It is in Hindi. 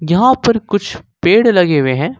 यहां पर कुछ पेड़ लगे हुए हैं।